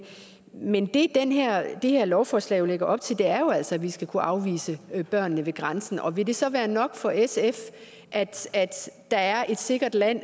men det det her lovforslag lægger op til er jo altså at vi skal kunne afvise børn ved grænsen vil det så være nok for sf at der er et sikkert land